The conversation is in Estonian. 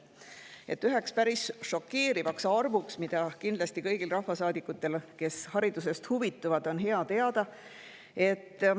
üks päris šokeeriv arv, mida kindlasti kõigil rahvasaadikutel, kes haridusest huvituvad, on hea teada.